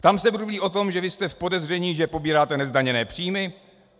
Tam se mluví o tom, že vy jste v podezření, že pobíráte nezdaněné příjmy.